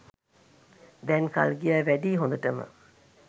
දැන් කල් ගියා වැඩියි හොඳටම.